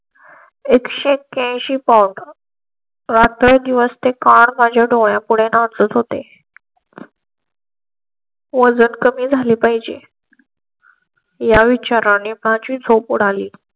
एक स ऐंशी कोट. रात्रं दिवस ते card माझ्या डोळ्यां पुढे नाचत होते. वजन कमी झाले पाहिजे. या विचाराने माझी झोप उडाली.